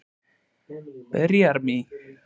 Berjarima